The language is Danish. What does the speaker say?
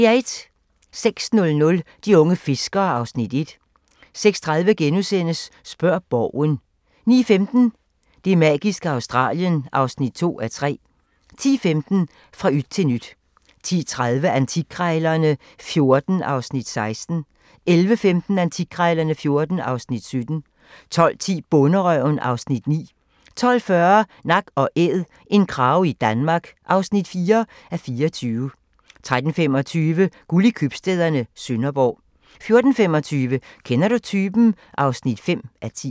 06:00: De unge fiskere (Afs. 1) 06:30: Spørg Borgen * 09:15: Det magiske Australien (2:3) 10:15: Fra yt til nyt 10:30: Antikkrejlerne XIV (Afs. 16) 11:15: Antikkrejlerne XIV (Afs. 17) 12:10: Bonderøven (Afs. 9) 12:40: Nak & æd - en krage i Danmark (4:24) 13:25: Guld i købstæderne - Sønderborg 14:25: Kender du typen? (5:10)